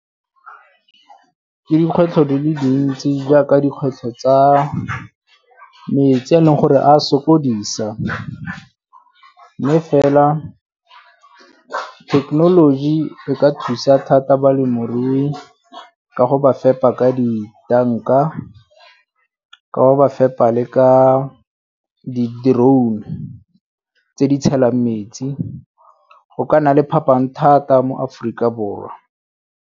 Ke dikgwetlho dile dintsi jaaka dikgwetlho tsa metsi a e leng gore a sokodisa mme fela thekenoloji e ka thusa thata balemirui ka go ba fepa ka ditanka, ka go ba fepa le ka di-drone tse di tshelwang metsi, go ka nna le phapang thata mo Aforika Borwa.